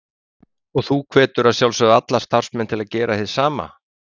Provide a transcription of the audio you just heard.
Sindri: Og þú hvetur að sjálfsögðu alla starfsmenn til að gera hið sama?